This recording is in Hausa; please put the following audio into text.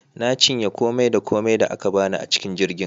Na cinye komai da komai da aka bani a cikin jirgin